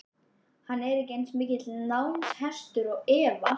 Hann er ekki eins mikill námshestur og Eva.